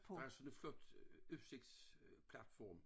Der er sådan et flot øh udsigtsplatform